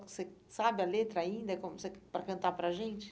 Você sabe a letra ainda como você para cantar para a gente?